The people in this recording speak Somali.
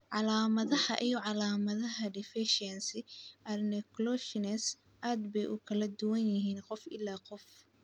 Calaamadaha iyo calaamadaha deficiency adenylosuccinase aad bay ugu kala duwan yihiin qof ilaa qof.